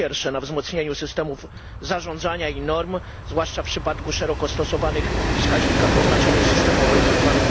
Po pierwsze, na wzmocnieniu systemów zarządzania i norm, zwłaszcza w przypadku szeroko stosowanych wskaźników o znaczeniu systemowym tzw.